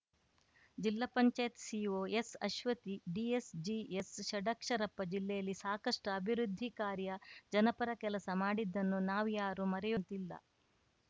ಜಿಲ್ಲಾ ಪಂಚಾಯತ್ ಸಿಇಓ ಎಸ್‌ಅಶ್ವತಿ ಡಿಎಸ್‌ ಜಿಎಸ್‌ಷಡಕ್ಷರಪ್ಪ ಜಿಲ್ಲೆಯಲ್ಲಿ ಸಾಕಷ್ಟುಅಭಿವೃದ್ಧಿ ಕಾರ್ಯ ಜನಪರ ಕೆಲಸ ಮಾಡಿದ್ದನ್ನು ನಾವ್ಯಾರು ಮರೆಯುವಂತಿಲ್ಲ